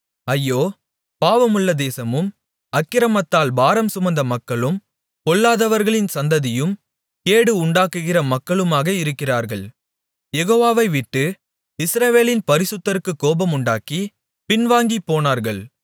ஐயோ பாவமுள்ள தேசமும் அக்கிரமத்தால் பாரம்சுமந்த மக்களும் பொல்லாதவர்களின் சந்ததியும் கேடு உண்டாக்குகிற மக்களுமாக இருக்கிறார்கள் யெகோவாவைவிட்டு இஸ்ரவேலின் பரிசுத்தருக்குக் கோபமுண்டாக்கி பின்வாங்கிப்போனார்கள்